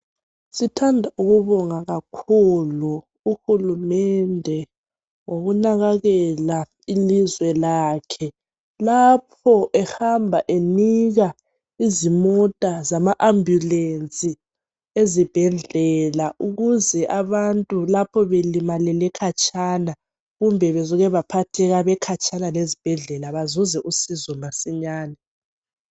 Sithanda ukubonga kakhulu uhulumende ngokunakakela ilizwe lakhe lapho ehamba enika izimota zama ambulance ezibhedlela ukuze abantu lapho belimalele khatshana kumbe besuke baphatheka bekhatshana lezibhedlela bazuze usizo masinyane